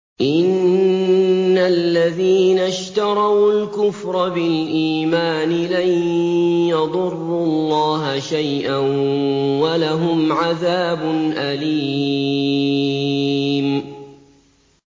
إِنَّ الَّذِينَ اشْتَرَوُا الْكُفْرَ بِالْإِيمَانِ لَن يَضُرُّوا اللَّهَ شَيْئًا وَلَهُمْ عَذَابٌ أَلِيمٌ